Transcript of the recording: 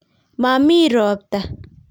momii ropta